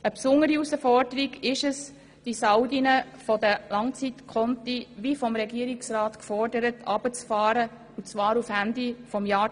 Eine besondere Herausforderung ist es, die Saldi der Langzeitkonten wie vom Regierungsrat gefordert herunterzufahren, und zwar bis Ende 2019.